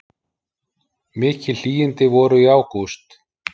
Mikil hlýindi voru í ágúst